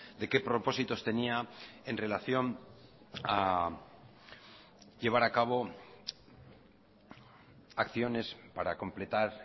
de qué propósitos tenía en relación a llevar a cabo acciones para completar